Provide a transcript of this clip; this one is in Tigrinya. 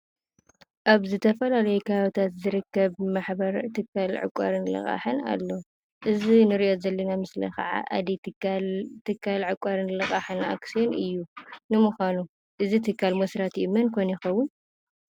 ኣብ ዝተፈላለየ ከባቢታት ዝርከብ ማሕበር ትካል ዕቋርን ልቃሕን ኣሎ፡፡ እዚ ንሪኦ ዘለና ምስሊ ከዓ ኣደዳይ ትካል ዕቋርን ልቃሕን ኣክስዮን እዩ፡፡ ንምዃኑ እዚ ትካል መስራቲኡ መን ኮን ይኸውን?